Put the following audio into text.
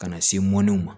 Ka na se mɔniw ma